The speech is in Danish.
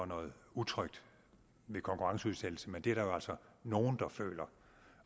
noget utrygt ved konkurrenceudsættelse men det er der jo altså nogle der føler